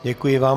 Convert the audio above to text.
Děkuji vám.